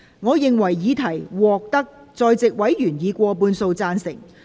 我認為議題獲得在席委員以過半數贊成。